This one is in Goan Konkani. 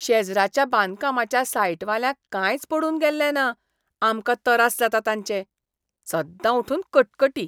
शेजराच्या बांदकामाच्या सायटवाल्यांक कांयच पडून गेल्लें ना आमकां तरास जातात ताचें. सद्दां उठून कटकटी!